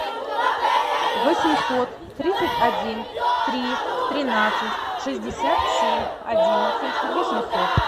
восемьсот тридцать один три тринадцать шестьдесят семь одиннадцать восемьсот